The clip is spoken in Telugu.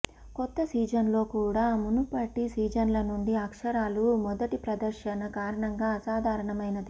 కొత్త సీజన్లో కూడా మునుపటి సీజన్ల నుండి అక్షరాలు మొదటి ప్రదర్శన కారణంగా అసాధారణమైనది